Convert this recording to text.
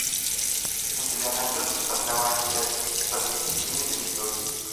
у тебя найдется сороковая часть под несчастливой звездой